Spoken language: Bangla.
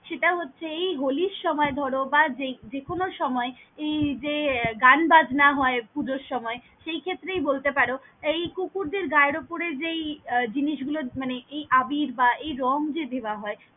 সেটা হচ্ছে এই হোলির সময় ধর বা যেই কোন সময় এই যে গান বাজনা হয় পুজোর সময় সেই খেতেরি বলতে পারো এই কুকুরদের গায়ের উপরে যেই জিনিস গুলো মানে আবির বা রঙ যে দেওয়া হয়।